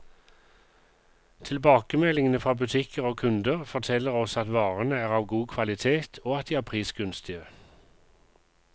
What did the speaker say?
Tilbakemeldingene fra butikker og kunder, forteller oss at varene er av god kvalitet, og at de er prisgunstige.